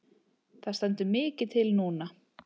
Það stendur mikið til núna.